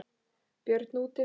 Björn útivið.